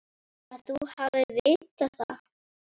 Að þú hafir vitað það.